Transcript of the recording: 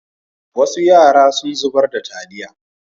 Wasu yara sun zubar da taliya.